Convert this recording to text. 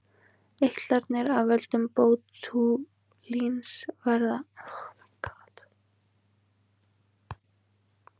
Eitranir af völdum bótúlíns verða oftast þegar menn fá illa meðhöndlaðan mat.